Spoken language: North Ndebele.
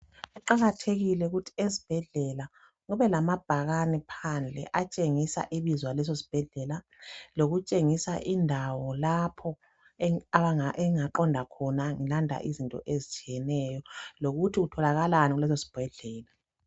Kuqakathekile ukuthi esibhedlela kube lamabhakhani phandle atshengisa ibizo laleso sibhedlela. Lokutshengisa indawo lapho engingaqonda khona ngilanda izinto ezitshiyeneyo. Lokuthi kutholakhalani kuleso sibhedlela.